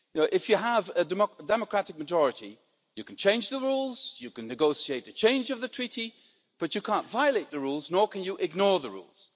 If you have a democratic majority, you can change the rules, you can negotiate a change of the treaty, but you can't violate the rules, nor can you ignore the rules.